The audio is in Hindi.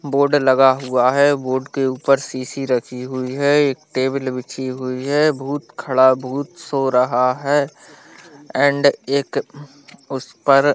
बोर्ड लगा हुआ है बोर्ड के ऊपर शीशी रखी हुई है एक टेबल बिछी हुई है भूत खड़ा भूत सो रहा है एंड एक उस पर --